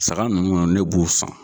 Saga nunnu ne b'u san.